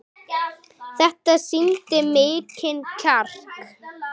Þetta sýndi mikinn kjark.